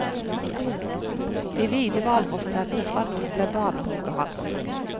De hvite hvalrosstennene fra nord ble banehogget hans.